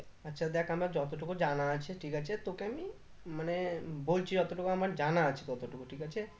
আচ্ছা দেখ আমার যতটুকু জানা আছে ঠিক আছে তোকে আমি মানে বলছি ওতো টুকু জানা আছে আমার কত টুকু ঠিক আছে